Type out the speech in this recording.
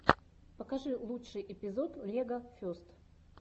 покажи лучший эпизод легофест